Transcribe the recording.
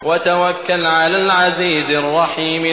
وَتَوَكَّلْ عَلَى الْعَزِيزِ الرَّحِيمِ